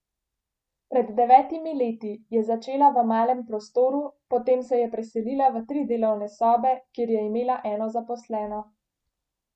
Pred devetimi leti je začela v malem prostoru, potem se je preselila v tri delovne sobe, kjer je imela eno zaposleno.